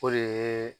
O de ye